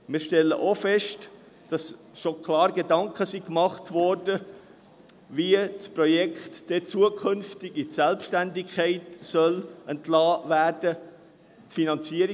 Auch stellen wir fest, dass man sich bereits klare Gedanken darüber gemacht hat, wie das Projekt künftig in die Selbstständigkeit entlassen werden soll.